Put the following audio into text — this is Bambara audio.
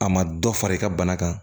A ma dɔ fara i ka bana kan